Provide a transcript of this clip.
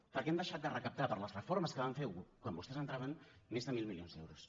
perquè han deixat de recaptar per les reformes que van fer quan vostès entraven més de mil milions d’euros